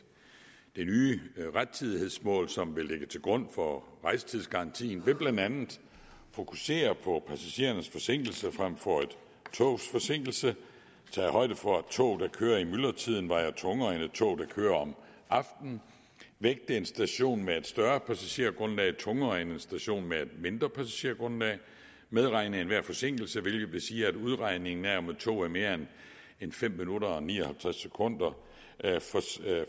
det nye rettidighedsmål som vil ligge til grund for rejsetidsgarantien vil blandt andet fokusere på passagerernes forsinkelse frem for et togs forsinkelse tage højde for at tog der kører i myldretiden vejer tungere end tog der kører om aftenen vægte en station med et større passagergrundlag tungere end en station med et mindre passagergrundlag medregne enhver forsinkelse hvilket vil sige at udregningen af om et tog er mere end fem minutter og ni og halvtreds sekunder